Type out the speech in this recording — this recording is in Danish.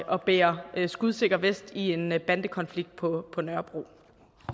at bære skudsikker vest i en bandekonflikt på på nørrebro